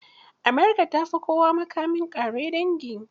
America ta fi kowa makamin ƙare dangi.